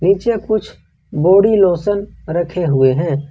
पीछे कुछ body lotion रखे हुए हैं।